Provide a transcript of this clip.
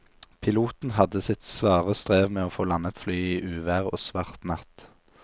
Piloten hadde sitt svare strev med å få landet flyet i uvær og svart natt.